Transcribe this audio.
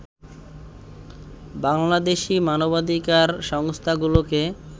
বাংলাদেশি মানবাধিকার সংস্থাগুলোকে